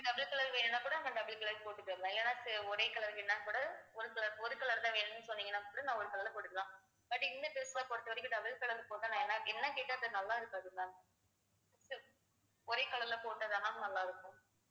double color வேணும்னா கூட நாங்க double color போட்டுத்தரலாம் இல்லேன்னா ஒரே color வேணும்னா கூட ஒரு color தான் வேணும்னு சொன்னீங்கனா கூட நான் ஒரு color ல போட்டுக்கலாம் but இந்த dress code பொறுத்தவரைக்கும் double color போட்டா கேட்டா நல்லா இருக்காது ma'am ஒரே color ல போட்டாதான் ma'am நல்லா இருக்கும்